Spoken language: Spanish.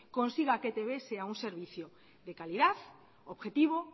consiga que etb sea un servicio de calidad objetivo